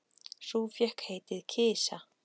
Sú fékk heitið Kisa.